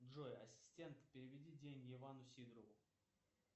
джой ассистент переведи деньги ивану сидорову